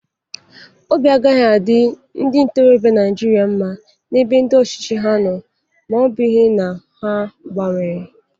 Obi agaghi adị ndị ntorọbịa Naijiria mma n'ebe ndị ọchịchị ha nọ ma ọ bụghị na ha gbabnwere.